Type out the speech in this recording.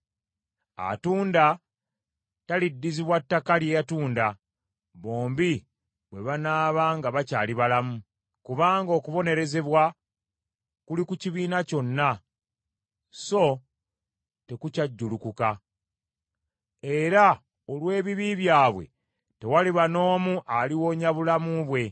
Atunda taliddizibwa kintu kye yatunda, bombi bwe banaaba nga bakyali balamu. Kubanga okubonerezebwa kuli ku kibiina kyonna so tekukyajulukuka. Era olw’ebibi byabwe tewaliba n’omu aliwonya obulamu bwe.